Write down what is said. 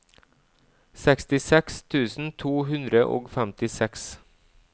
sekstiseks tusen to hundre og femtiseks